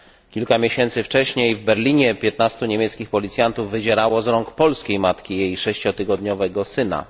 Kilka miesięcy wcześniej w Berlinie 15 niemieckich policjantów wydzierało z rąk polskiej matki jej sześciotygodniowego syna.